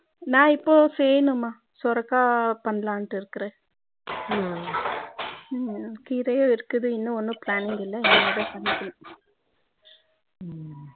நான் இப்போ செய்யணும் மா சுரைக்காய் பண்ணலாம் டு இருக்கிறேன் கீரையும் இருக்குது இன்னும் ஒன்னும் planning இல்லை இனி மேல் தா கண்டுபிடிக்கனும்